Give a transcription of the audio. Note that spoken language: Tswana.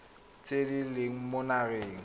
tse di leng mo lenaaneng